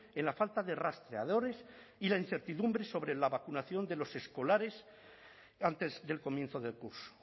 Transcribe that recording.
en la falta de rastreadores y la incertidumbre sobre la vacunación de los escolares antes del comienzo del curso